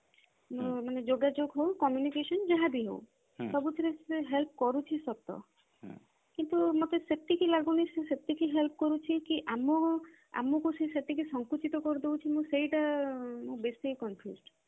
ଯୋଗାଯୋଗ ହଉ communication ଯାହା ବି ହଉ ସବୁଥିରେ ସେ help କରୁଛି ସତ କିନ୍ତୁ ମତେ ସେତିକି ଲାଗୁନି କି ସେ ସେତିକି help କରୁଛି କି ଆମ ଆମକୁ ସେ ସେତିକି ସଙ୍କୁଚିତ କରି ଦଉଛି ମୁଁ ସେଇଟା ମୁଁ ବେଶି confused